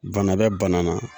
Bana bɛ bana na.